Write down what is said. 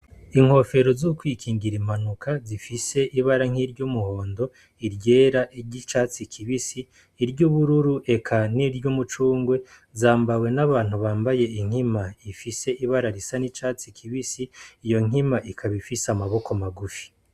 Inkofero zo kwikingira impanuka zifise ibara nk'iryumuhondo, iryera, iry'icatsi kibisi, iry'ubururu eka niry'umucungwe, zambawe n'abantu bambaye inkima ifise ibara risa n'icatsi kibisi, iyo nkima ikaba ifise amaboko magufi.